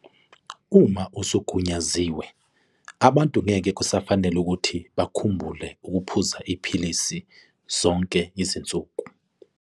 Uma usugunyaziwe, abantu ngeke kusafanela ukuthi bakhumbule ukuphuza iphilisi zonke izinsuku.